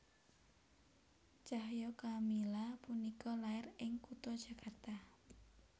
Cahya Kamila punika lair ing kutha Jakarta